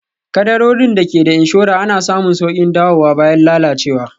Kaddarorin da ke da inshora ana samun sauƙin dawowa bayan lalacewa